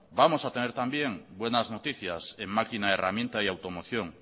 vamos a tener también buenas noticias en máquina herramienta y automoción